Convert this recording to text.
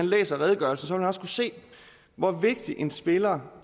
læser redegørelsen også kunne se hvor vigtig en spiller